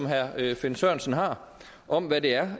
herre finn sørensen har om hvad det er